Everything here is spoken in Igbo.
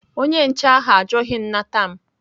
Onye nche ahụ ajụghị nnata m.